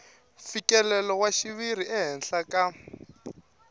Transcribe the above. mfikelelo wa xiviri ehenhla ka